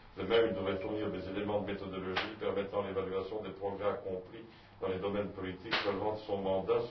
De même, il devrait fournir des éléments de méthodologie permettant l'évaluation des progrès accomplis dans les domaines politiques relevant de son mandant.